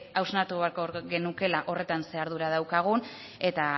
hausnartu beharko genukeela horretan zein ardura daukagun eta